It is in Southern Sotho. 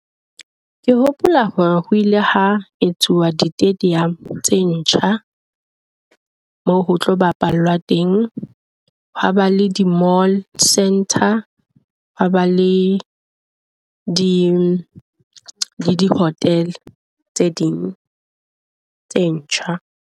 Ke hopola hore ho ile hwa e etsuwa di stadium tse ntjha, moo ho tlo ba pallwang teng. Ho a ba le di-mall centre ha ba le di hotel tse ding tse ntjha.